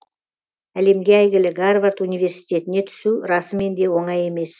әлемге әйгілі гарвард университетіне түсу расымен де оңай емес